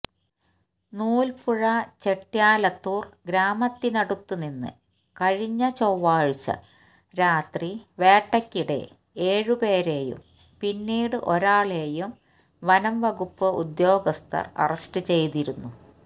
നൂല്പ്പുഴ ചെട്ട്യാലത്തൂര് ഗ്രാമത്തിനടുത്തുനിന്ന് കഴിഞ്ഞ ചൊവ്വാഴ്ച രാത്രി വേട്ടക്കിടെ ഏഴുപേരെയും പിന്നീട് ഒരാളെയും വനംവകുപ്പ് ഉദ്യോഗസ്ഥര് അറസ്റ്റ് ചെയ്തിരുന്നു